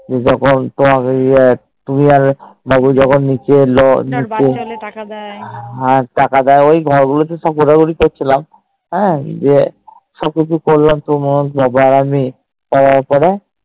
যখুন তুমি যে তুমি আর বউ যখুন নিচ এলো নিচে হা টাকা দিয়ে ওই ঘর গুলি তে সব ঘোড়া ঘুড়ি করছিলাম হ্যান দিয়ে সব কিছু করলাম যে তোমার বাবা আর আমি করার পরে